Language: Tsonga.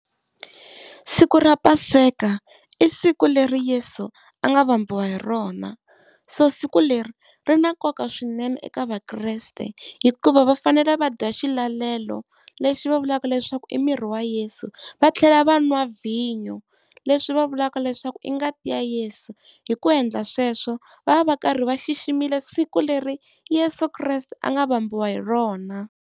Siku ra Paseka i siku leri Yeso a nga vambiwa hi rona, so siku leri ri na nkoka swinene eka Vakreste hikuva va fanele va dya xilalelo lexi va vulaka leswaku i miri wa Yesu, va tlhela va n'wa vinyo leswi va vulaka leswaku i ngati ya Yesu. Hi ku endla sweswo va va va karhi va xiximile siku leri Yeso Kreste a nga vambiwa hi rona.